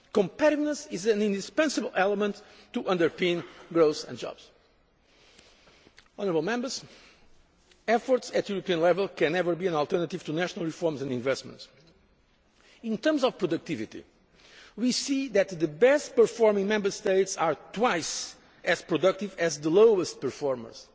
Competitiveness is an indispensable element to underpin growth and jobs. Efforts at European level can never be an alternative to national reforms and investments. In terms of productivity, we see that the best performing Member States are twice as productive as the lowest performers.